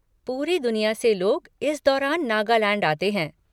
पूरी दुनिया से लोग इस दौरान नागालैंड आते हैं।